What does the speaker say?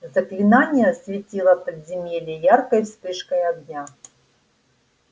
заклинание осветило подземелье яркой вспышкой огня